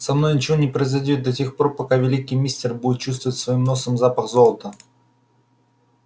со мной ничего не произойдёт да тех пор пока великий мистер будет чувствовать своим носом запах золота